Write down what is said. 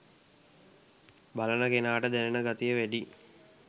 බලන කෙනාට දැනෙන ගතිය වැඩියි